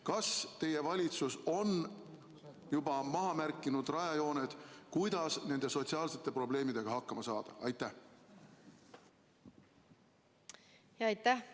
Kas teie valitsus on juba maha märkinud rajajooned, kuidas nende sotsiaalsete probleemidega hakkama saada?